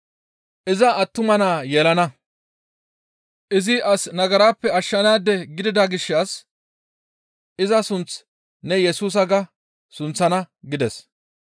Iza attuma naa yelana; izi as nagarappe ashshanaade gidida gishshas iza sunth ne, ‹Yesusa› ga sunththana» gides.